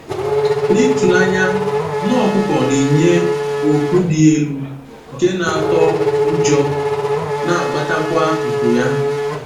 N’ịtụ n’anya, nne ọkụkọ na-enye oku dị elu nke na-atọ ụjọ, na-agbatakwa nku ya.